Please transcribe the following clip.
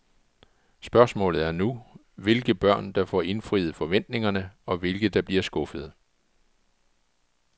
Spørgsmålet er nu, hvilke børn der får indfriet forventningerne og hvilke, der bliver skuffede.